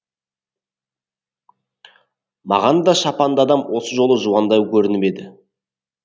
маған да шапанды адам осы жолы жуандау көрініп еді